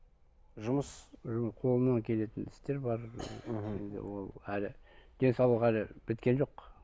жұмыс қолымнан келетін істер бар мхм ол әлі денсаулық әлі біткен жоқ